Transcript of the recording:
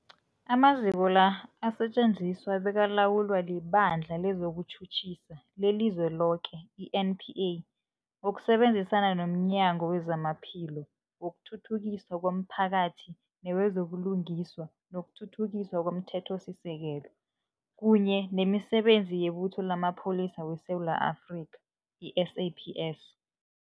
Amaziko la asetjenziswa bekalawulwa liBandla lezokuTjhutjhisa leliZweloke, i-NPA, ngokusebenzisana nomnyango wezamaPhilo, wokuthuthukiswa komphakathi newezo buLungiswa nokuThuthukiswa komThethosisekelo, kunye nemiSebenzi yeButho lamaPholisa weSewula Afrika, i-SAPS.